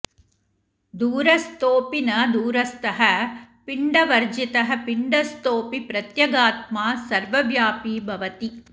दूरस्थोऽपि न दूरस्थः पिण्डवर्जितः पिण्डस्थोऽपि प्रत्यगात्मा सर्वव्यापी भवति